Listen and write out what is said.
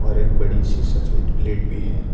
और एक बड़ी सी सफेद प्लेट भी है।